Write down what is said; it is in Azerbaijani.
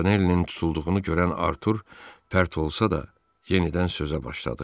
Montanellinin tutulduğunu görən Artur pərt olsa da, yenidən sözə başladı.